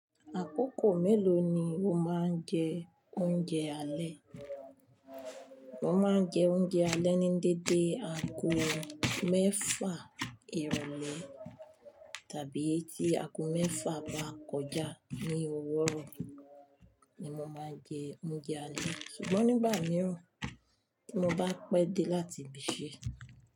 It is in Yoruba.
Àkókò mélòó ni o máa ń jẹ oúnjẹ alẹ́? Mo máa ń jẹ oúnjẹ alẹ́ ní dédé ago mẹ́fà ìrọ̀lẹ́ tàbí tí ago mẹ́fà bá kọjá ní ọwurọ ni mo máa jẹ oúnjẹ alẹ́ ṣùgbọ́n nígbà mìíràn tí mo bá pé dé láti ibiṣẹ́